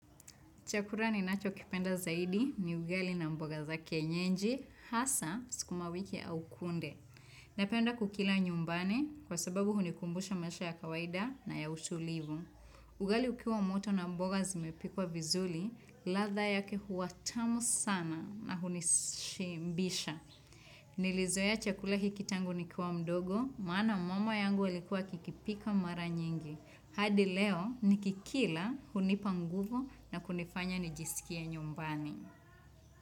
Chakula ninacho kipenda zaidi ni ugali na mboga za kienyeji, hasa sukumawiki au kunde. Napenda kukila nyumbani kwa sababu hunikumbusha maisha ya kawaida na ya utulivu. Ugali ukiwa moto na mboga zimepikwa vizuri, ladhaa yake huwa tamu sana na hunishibisha. Nilizoea chakula hiki tangu nikiwa mdogo, maana mama yangu alikua akikipika mara nyingi. Hadi leo nikikila hunipa nguvu na kunifanya nijisikie nyumbani.